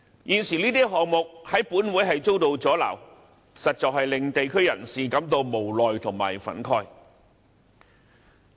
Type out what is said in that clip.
現時這些項目在本會遭到阻撓，實在令地區人士感到無奈和憤慨。